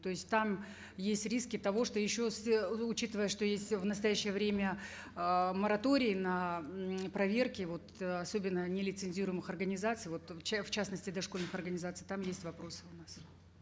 то есть там есть риски того что еще с учитывая что есть в настоящее время э мораторий на проверки вот э особенно нелицензируемых организаций вот в в частности дошкольных организаций там есть вопросы у нас